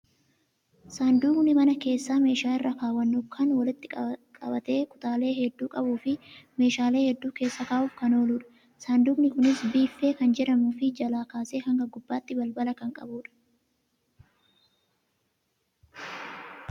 Saanduqni mana keessa meeshaa irra kaawwannu kan walitti qabatee kutaalee hedduu qabuu fi meeshaalee hedduu keessa kaa'uuf kan ooludha. Saanduqni kunis biiffee kan jedhamuu fi jalaa kaasee haga gubbaatti balbala kan qabudha.